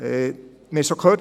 Wir haben es schon gehört: